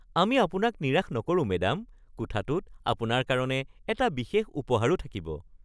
আমি আপোনাক নিৰাশ নকৰোঁ, মেডাম। কোঠাটোত আপোনাৰ কাৰণে এটা বিশেষ উপহাৰো থাকিব (হোটেলৰ অতিথিৰ সম্পৰ্ক)